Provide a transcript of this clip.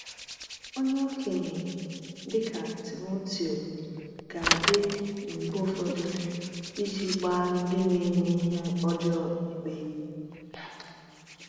Onye okenye, dịka Timoteo, ga-adị mgbe ụfọdụ iji gbaa ndị na-eme ihe ọjọọ ikpe.